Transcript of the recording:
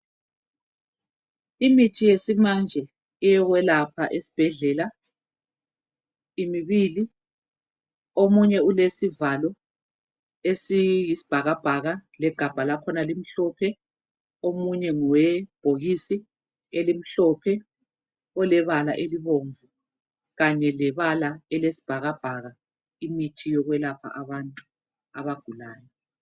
Imithi Yesimanje eyokwelapha esibhedlela imibili OmunYe ulesivalo esiyisi bhakabhaka legabha lakhona limhlophe omunye ngowebhokisi elimhlophe lebala elibomvu Kanye labala eliyisibhakabhaka imithi yokwelapha abantu abagulayo